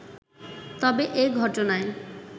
তবে এ ঘটনায়